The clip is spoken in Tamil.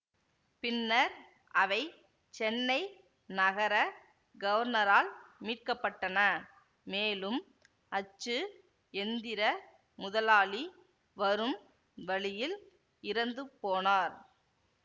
பின்னர் அவை சென்னை நகர கவர்னரால் மீட்க பட்டன மேலும் அச்சு எந்திர முதலாளி வரும் வழியில் இறந்து போனார்